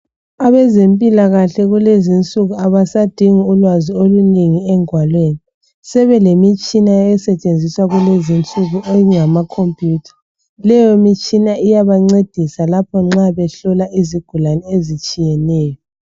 Abezempilahle kulezinsuku abasadingi ulwazi olunengi engwalweni sebelenitshina esetshenziswa kulezinsuku enjengama cophutha leyomitsh8na iyabancedisa nxa behlola izigulane ezitshiyeneyo